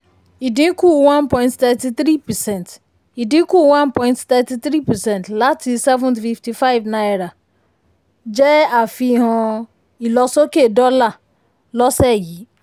ìdínkù one point three three percent ìdínkù one point three three percent láti n seven hundred fifty five náírà um jẹ́ àfihàn um ilosoke dólà um lọ́sẹ̀ yìí.